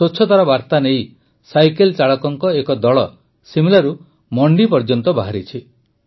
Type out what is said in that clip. ସ୍ୱଚ୍ଛତାର ବାର୍ତା ନେଇ ସାଇକେଲ ଚାଳକଙ୍କ ଏକ ଦଳ ଶିମଲାରୁ ମଣ୍ଡି ପର୍ଯ୍ୟନ୍ତ ବାହାରିଛି